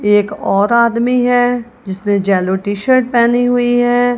एक और आदमी है जिसने जेलो टी शर्ट पहनी हुई है।